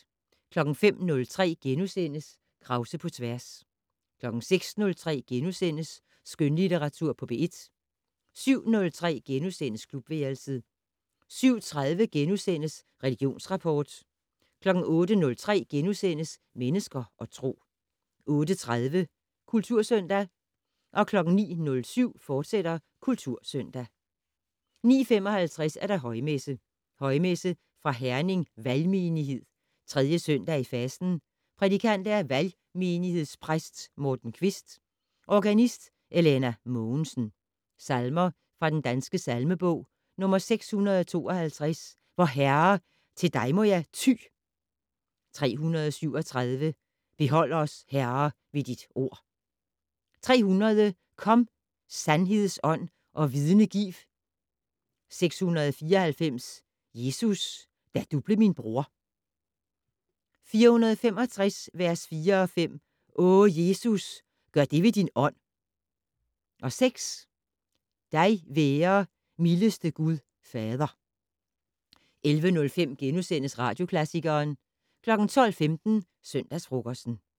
05:03: Krause på tværs * 06:03: Skønlitteratur på P1 * 07:03: Klubværelset * 07:30: Religionsrapport * 08:03: Mennesker og Tro * 08:30: Kultursøndag 09:07: Kultursøndag, fortsat 09:55: Højmesse - Højmesse fra Herning Valgmenighed. 3. søndag i fasten. Prædikant: Valgmenighedspræst Morten Kvist. Organist: Elena Mogensen. Salmer fra Den Danske Salmebog: 652 "Vor Herre! til dig må jeg ty". 337 "Behold os, Herre, ved dit ord". 300 "Kom, sandheds Ånd, og vidne giv". 694 "Jesus, da du blev min bror". 465 vers 4-5 "O Jesus, gør det ved din Ånd". 6 "Dig være, mildeste Gud fader". 11:05: Radioklassikeren * 12:15: Søndagsfrokosten